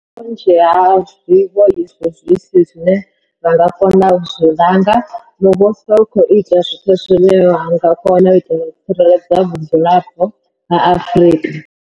Naho vhunzhi ha zwiwo izwi zwi si zwine ra nga kona u zwi langa, muvhuso u khou ita zwoṱhe zwine wa nga kona u itela u tsireledza vhadzulapo vha Afrika.